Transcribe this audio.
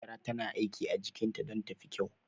Hajara tana aiki a jikinta don ta fi kyau.